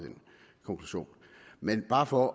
konklusion men bare for